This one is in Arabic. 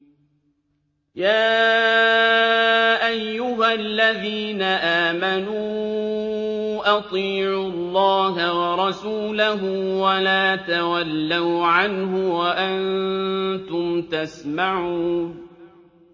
يَا أَيُّهَا الَّذِينَ آمَنُوا أَطِيعُوا اللَّهَ وَرَسُولَهُ وَلَا تَوَلَّوْا عَنْهُ وَأَنتُمْ تَسْمَعُونَ